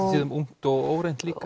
á tíðum ungt og óreynt líka